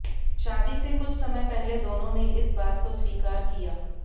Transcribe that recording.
शादी से कुछ समय पहले दोनों ने इस बात को स्वीकार किया